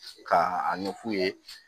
Ka a ɲɛ f'u ye